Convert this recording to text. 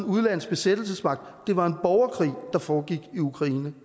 udenlandsk besættelsesmagt det var en borgerkrig der foregik i ukraine